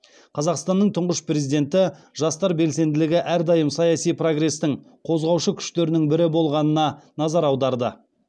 қазақстанның тұңғыш президенті жастар белсенділігі әрдайым саяси прогрестің қозғаушы күштерінің бірі болғанына назар аударды